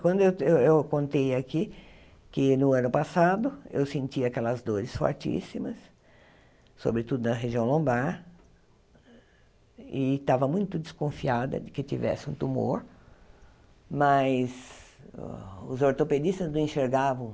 Quando eu eu contei aqui que no ano passado eu senti aquelas dores fortíssimas, sobretudo na região lombar, e estava muito desconfiada de que tivesse um tumor, mas os ortopedistas não enxergavam